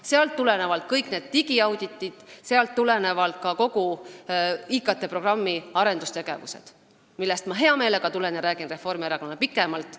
Sealt tulenevad kõik need digiauditid, sealt tulenevad ka IKT programmi arendustegevused, millest ma hea meelega räägiksin Reformierakonnale pikemalt.